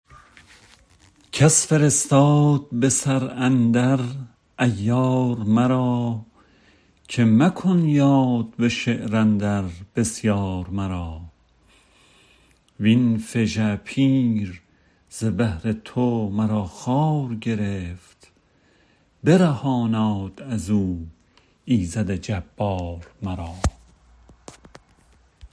کس فرستاد به سر اندر عیار مرا که مکن یاد به شعر اندر بسیار مرا وین فژه پیر ز بهر تو مرا خوار گرفت برهاناد ازو ایزد جبار مرا